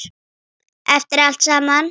Eftir allt saman.